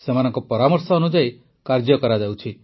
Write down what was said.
ସେମାନଙ୍କ ପରାମର୍ଶ ଅନୁଯାୟୀ କାର୍ଯ୍ୟ କରାଯାଉଛି